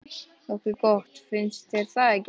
Nokkuð gott, finnst þér ekki?